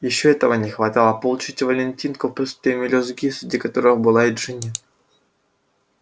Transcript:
ещё этого не хватало получить валентинку в присутствии мелюзги среди которой была и джинни